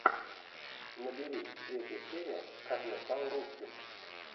набери третья серия как я стал русским